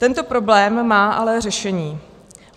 Tento problém má ale řešení.